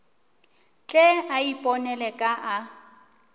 tle a iponele ka a